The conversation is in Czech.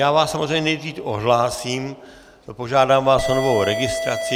Já vás samozřejmě nejdřív odhlásím, požádám vás o novou registraci.